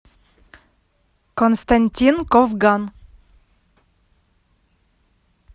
константин ковган